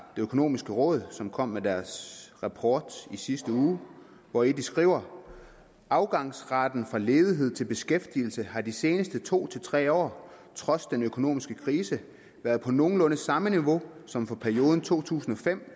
økonomiske råd som kom med deres rapport i sidste uge hvori de skriver afgangsraten fra ledighed til beskæftigelse har de seneste to til tre år trods den økonomiske krise været på nogenlunde samme niveau som for perioden to tusind og fem